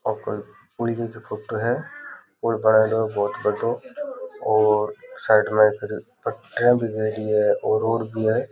पुलिय की फोटो है पुल बनायेडो है बहुत बड़ों और साइड में पटिया भी लगी है और भी है।